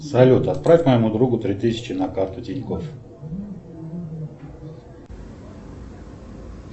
салют отправь моему другу три тысячи на карту тинькофф